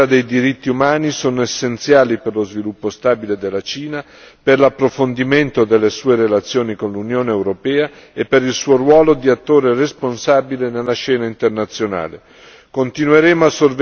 La promozione e la tutela dei diritti umani sono essenziali per lo sviluppo stabile della Cina, per l'approfondimento delle sue relazioni con l'Unione europea e per il suo ruolo di attore responsabile sulla scena internazionale.